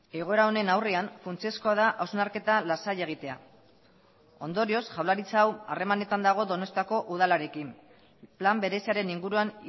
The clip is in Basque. egoera honen aurrean funtsezkoa da hausnarketa lasaia egitea ondorioz jaurlaritza hau harremanetan dago donostiako udalarekin plan bereziaren inguruan